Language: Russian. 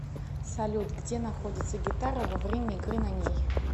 салют где находится гитара во время игры на ней